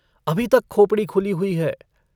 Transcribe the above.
अभी तक खोपड़ी खुली हुई है।